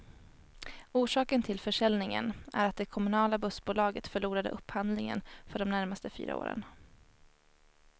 Orsaken till försäljningen är att det kommunala bussbolaget förlorade upphandlingen för de närmaste fyra åren.